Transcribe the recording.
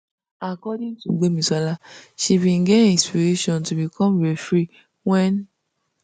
according tu gbemisola she bin get inspiration to become referee wen